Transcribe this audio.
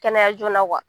Kɛnɛya joona